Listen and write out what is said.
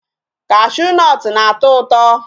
Cashew nut na-atọ ụtọ.